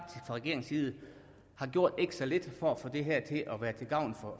regeringens side har gjort ikke så lidt for at få det her til at være til gavn